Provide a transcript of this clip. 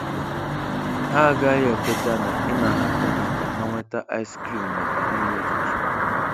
Ha agaghị ekweta na ị na-ahapụ ha ka ha nweta ice cream maka nri ụtụtụ.